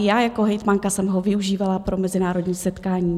I já jako hejtmanka jsem ho využívala pro mezinárodní setkání.